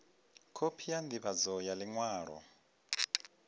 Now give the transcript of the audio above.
khophi ya ndivhadzo ya liṅwalo